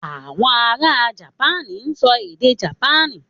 Àwọn ará Jamaní ń sọ èdè Jamaní.